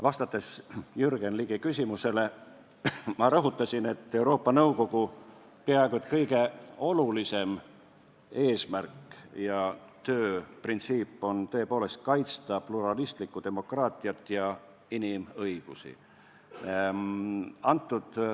Vastates Jürgen Ligi küsimusele, ma rõhutasin, et Euroopa Nõukogu peaaegu kõige olulisem eesmärk ja tööprintsiip on tõepoolest kaitsta pluralistlikku demokraatiat ja inimõigusi.